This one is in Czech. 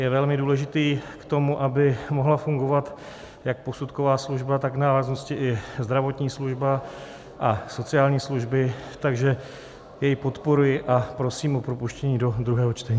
Je velmi důležitý k tomu, aby mohla fungovat jak posudková služba, tak v návaznosti i zdravotní služba a sociální služby, takže jej podporuji a prosím o propuštění do druhého čtení.